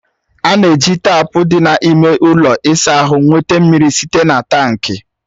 A na-eji taapu dị n'ime ụlọ ịsa ahụ nweta mmiri site na tankị